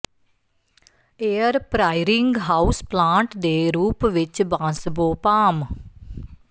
air purifying house plant ਦੇ ਰੂਪ ਵਿੱਚ ਬਾਂਸਬੋ ਪਾਮ